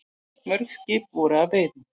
Mörg skip voru að veiðum.